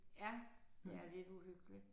Ja det er lidt uhyggeligt